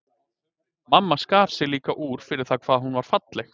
Mamma skar sig líka úr fyrir það hvað hún var falleg.